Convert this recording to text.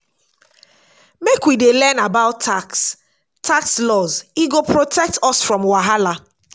make we dey learn about tax tax laws e go protect us from wahala.